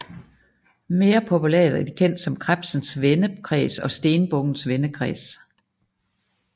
Mere populært er de kendt som Krebsens vendekreds og Stenbukkens vendekreds